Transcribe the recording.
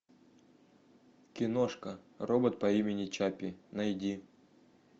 киношка робот по имени чаппи найди